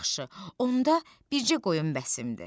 Yaxşı, onda bircə qoyun bəsimdir.